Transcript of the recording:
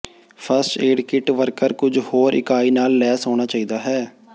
first aid kit worker ਕੁਝ ਹੋਰ ਇਕਾਈ ਨਾਲ ਲੈਸ ਹੋਣਾ ਚਾਹੀਦਾ ਹੈ